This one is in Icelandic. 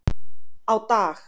á dag.